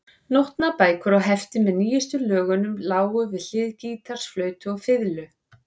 Nótnabækur og hefti með nýjustu lögunum lágu við hlið gítars, flautu og fiðlu.